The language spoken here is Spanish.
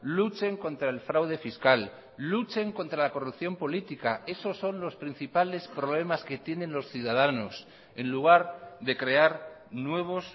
luchen contra el fraude fiscal luchen contra la corrupción política esos son los principales problemas que tienen los ciudadanos en lugar de crear nuevos